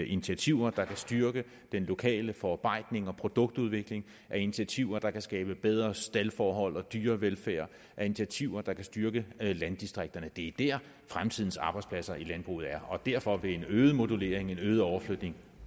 initiativer der kan styrke den lokale forarbejdning og produktudvikling af initiativer der kan skabe bedre staldforhold og dyrevelfærd af initiativer der kan styrke landdistrikterne det er der fremtidens arbejdspladser i landbruget er og derfor vil en øget modulering en øget overflytning